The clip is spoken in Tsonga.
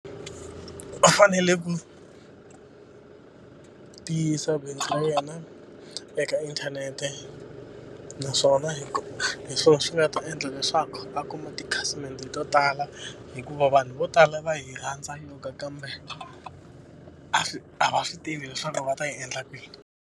U fanele ku tiyisa bindzu ra yena eka inthanete. Naswona hi hi swona swi nga va ta endla leswaku va kuma tikhasimende to tala hikuva vanhu vo tala va yi rhandza joga kambe, a swi a va swi tivi leswaku va ta yi endla kwini.